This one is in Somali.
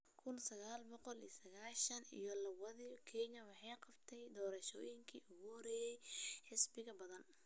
kuun sagal boqol sagasgan iyo lawodii, Kenya waxay qabatay doorashooyinkii ugu horeeyay ee xisbiyada badan.